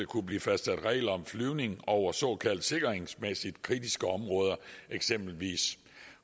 kunne blive fastsat regler om flyvning over såkaldt sikringsmæssigt kritiske områder eksempelvis